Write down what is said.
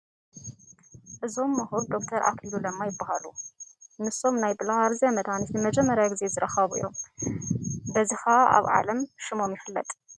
እዞም ምሁር ዶክተር ኣክሊሉ ለማ ይበሃሉ፡፡ ንሶም ናይ ብለሃርዝያ መድሓኒት ንመጀመርያ ግዜ ዝረኸቡ እዮም፡፡ በዚ ከዓ ኣብ ዓለም ሽሞም ይፍለጥ፡፡